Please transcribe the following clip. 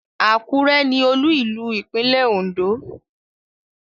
Àkúrẹ́ ni Olú-ìlú ìpínlẹ́ Ondo